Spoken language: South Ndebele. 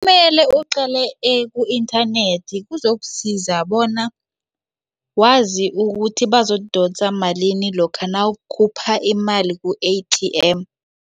Kumele uqale ku-inthanethi kuzokusiza bona wazi ukuthi bazodosa malini lokha nawukhupha imali ku-A_T_M.